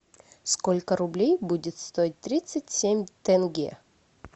сколько рублей будет стоить тридцать семь тенге